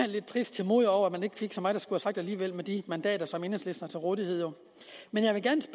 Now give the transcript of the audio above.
lidt trist til mode over at man ikke fik så meget at skulle have sagt alligevel med de mandater som enhedslisten har til rådighed men